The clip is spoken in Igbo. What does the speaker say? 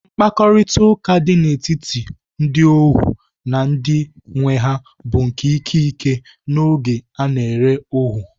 Mkparịtaụka dị n'etiti ndị ohuu na ndị nwee ha bụ nke ike ike n'oge a na-ere ohuu.